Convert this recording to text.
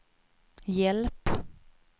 hjälp